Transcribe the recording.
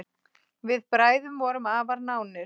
Við bræður vorum afar nánir.